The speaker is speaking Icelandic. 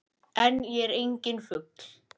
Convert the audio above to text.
En ég er enginn fugl.